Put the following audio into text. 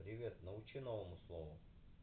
привет научи новому слову